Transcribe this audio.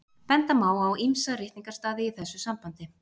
Benda má á ýmsa ritningarstaði í þessu sambandi.